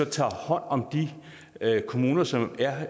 tager hånd om de kommuner som